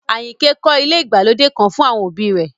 Àyìnkẹ́ kọ́ ilé ìgbàlódé kan fún àwọn òbí rẹ̀